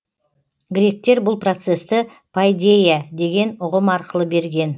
гректер бұл процесті пайдейя деген ұғым арқылы берген